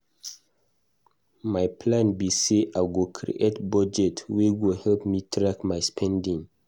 My plan be say I go create budget wey go help me track my spending.